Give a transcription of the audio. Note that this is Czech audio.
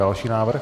Další návrh.